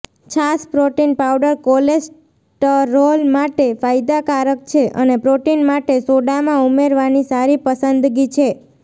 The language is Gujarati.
છાશ પ્રોટીન પાવડર કોલેસ્ટરોલ માટે ફાયદાકારક છે અને પ્રોટીન માટે સોડામાં ઉમેરવાની સારી પસંદગી છે